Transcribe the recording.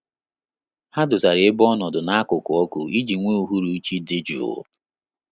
Ha dosara ebe ọnọdụ na-akuku ọkụ iji nwe uhuruchi dị jụụ